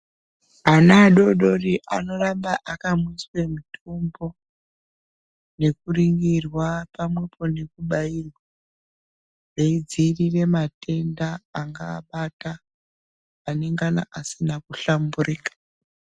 Ana adodori anoramba akamwiswa mutombo nekuningirwa pamwepo nekubairwa veidziirire matenda angaabata anengana asina kuhlamburika.